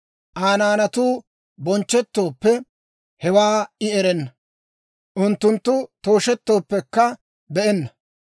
Aa naanatuu bonchchettooppe, hewaa I erenna; unttunttu tooshettooppekka be'enna.